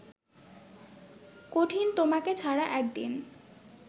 কঠিন তোমাকে ছাড়া একদিন